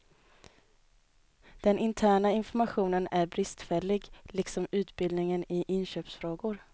Den interna informationen är bristfällig, liksom utbildningen i inköpsfrågor.